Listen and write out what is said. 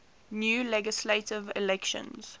new legislative elections